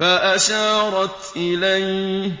فَأَشَارَتْ إِلَيْهِ ۖ